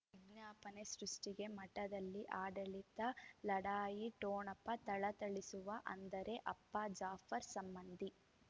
ವಿಜ್ಞಾಪನೆ ಸೃಷ್ಟಿಗೆ ಮಠದಲ್ಲಿ ಆಡಳಿತ ಲಢಾಯಿ ಠೊಣಪ ಥಳಥಳಿಸುವ ಅಂದರೆ ಅಪ್ಪ ಜಾಫರ್ ಸಂಬಂಧಿ